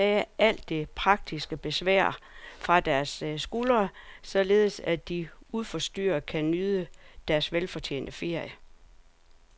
Vi ønsker at tage alt det praktiske besvær fra deres skuldre, således at de uforstyrret kan nyde deres velfortjente ferie.